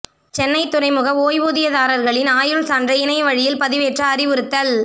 சென்னைத் துறைமுக ஓய்வூதியதாரா்களின் ஆயுள் சான்றை இணைய வழியில் பதிவேற்ற அறிவுறுத்தல்